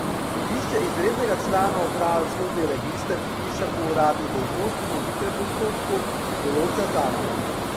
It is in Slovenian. Sodišče izrednega člana uprave v sodni register vpiše po uradni dolžnosti po hitrem postopku, določa zakon.